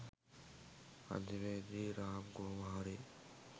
අන්තිමේදී රාම් කොහොම හරි